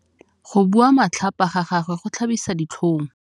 Go bua matlhapa ga gagwe go tlhabisa ditlhong.